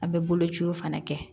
A bɛ bolociw fana kɛ